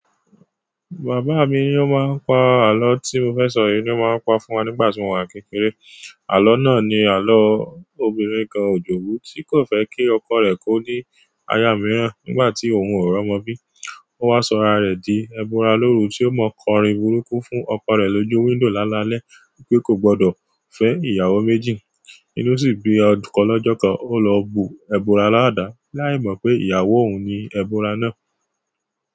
Bàbá mi o máa ń pa àló tí mo fẹ́ sọ yìí ni o máa ń pa fún wa nígbà tí mo wà kékeré. Àló náà ni àló obìnrin kan Òjòbú tí kò fẹ́ kí ọkọ rẹ̀ kó ní aya mìíràn nígbà tí òun ò romọ bí. Ó wá sọra rẹ̀ di ẹbọra lóru tí ó mọ kọrin burúkú fún ọkọ rẹ̀ lójú window lálalẹ́ wipé kò gbọdọ̀ fẹ́ ìyàwó méjì. Inú sì gbé ọkọ lọ́jọọ́kọ ó lọ bu ẹbọra ládàá láì mọ̀ pé ìyàwó òun ni ẹbọra náà.